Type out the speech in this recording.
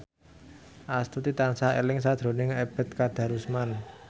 Astuti tansah eling sakjroning Ebet Kadarusman